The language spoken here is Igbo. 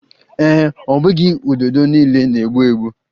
Ee e, ọ bụghị ududo niile na-egbu egbu